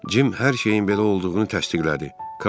Cim hər şeyin belə olduğunu təsdiqlədi.